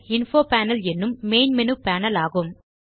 info panel என்னும் main menu panel ஆகும்